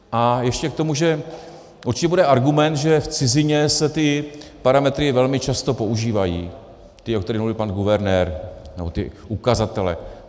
A ještě k tomu, že určitě bude argument, že v cizině se ty parametry velmi často používají, ty, o kterých mluvil pan guvernér, nebo ty ukazatele.